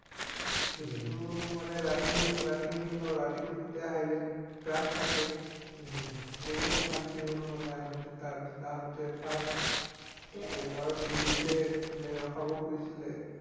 উম কিন্তু মানে ৰাতি ৰাতি হল ন ৰাতিটো গোটেই হাইৱে থাকে উম বহুত অশান্তি হল মানে আহোতে তাৰ পিছত আহোতে ফাৰ্ষ্ট এইবাৰ পুলিছে মানে ৰখাব খুজিছিলে